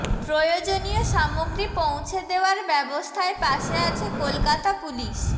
প্রয়োজনীয় সামগ্রী পৌঁছে দেওয়ার ব্যবস্থায় পাশে আছে কলকাতা পুলিশ